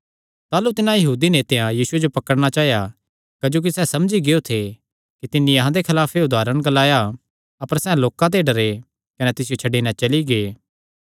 ताह़लू तिन्हां यहूदी नेतेयां यीशुये जो पकड़णा चाया क्जोकि सैह़ समझी गियो थे कि तिन्नी अहां दे खलाफ च एह़ उदारण ग्लाया अपर सैह़ लोकां ते डरे कने तिसियो छड्डी नैं चली गै